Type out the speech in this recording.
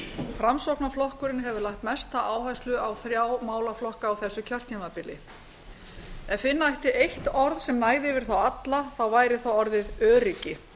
framsóknarflokkurinn hefur lagt mesta áherslu á þrjá málaflokka á þessu kjörtímabili ef finna ætti eitt orð sem sem næði yfir þá alla væri það orðið öryggi